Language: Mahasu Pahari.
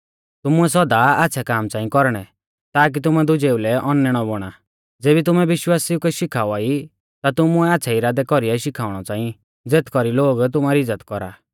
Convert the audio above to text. तुमुऐ सौदा आच़्छ़ै काम च़ांई कौरणै ताकी तुमै दुजेऊ लै औनैणौ बौणा ज़ेबी तुमै विश्वासिऊ कै शिखावा ई ता तुमुऐ आच़्छ़ै इरादै कौरीऐ शिखाउणौ च़ांई ज़ेथ कौरी लोग तुमारी इज़्ज़त कौरा